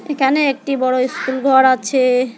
এখানে একটি বড় ইস্কুলঘর আছে।